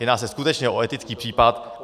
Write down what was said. Jedná se skutečně o etický případ.